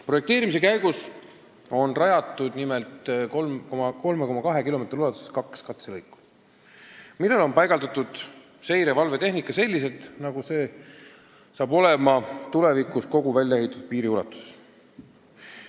" Projekteerimise käigus on rajatud 3,2 kilomeetri ulatuses kaks katselõiku, millele on paigaldatud seire- ja valvetehnika selliselt, nagu see saab olema tulevikus kogu väljaehitatud piiri ulatuses.